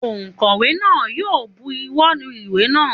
Ònkówè náà yi o buwó lu ìwé náà